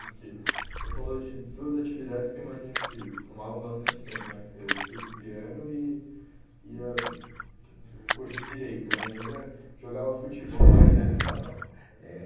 Porque o senhor falou de duas atividades que eu imagino que tomavam bastante tempo, né? Que foi o estudo do piano e e a o curso de Direito, né? E ainda jogava futebol ainda de salão. Assim... É...